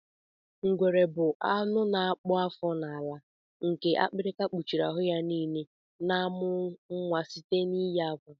Ngwere bu anụ na akpụ afọ n'ala nke akpịrịkpa kpuchiri aru ya nile nke na amụ nwa site n'iyi akwa.